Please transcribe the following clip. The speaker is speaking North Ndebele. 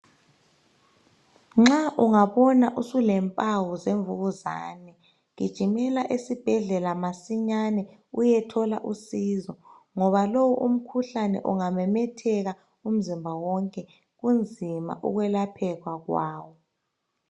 Nxa ungabona usulempawu zemvukuzane gijimela esibhedlela masinyane uyethola usizo ngoba lowu umkhuhlane ungamemetheka umzimba wonke unzima ukwelapheka kwawo.